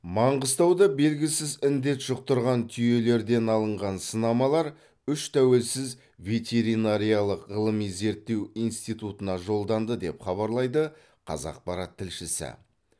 маңғыстауда белгісіз індет жұқтырған түйелерден алынған сынамалар үш тәуелсіз ветеринариялық ғылыми зерттеу институтына жолданды деп хабарлайды қазақпарат тілшісі